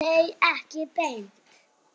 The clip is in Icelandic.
Nei, ekki beint.